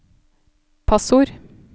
passord